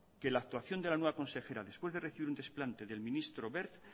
que la actuación de la nueva consejera después de recibir un desplante del ministro wert